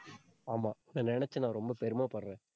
ஆமா, இத நெனச்சு நான் ரொம்ப பெருமைப்படுறேன்.